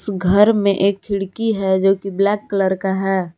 इस घर में एक खिड़की है जो की ब्लैक कलर का है।